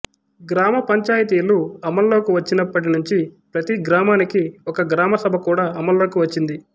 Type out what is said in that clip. గ్రామ పంచాయతీలు అమల్లోకి వచ్చినప్పటి నుంచి ప్రతి గ్రామానికి ఒక గ్రామ సభ కూడా అమల్లోకి వచ్చింది